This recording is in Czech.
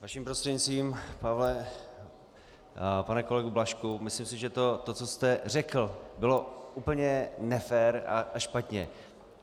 Vaším prostřednictvím - Pavle, pane kolego Blažku, myslím si, že to, co jste řekl, bylo úplně nefér a špatně.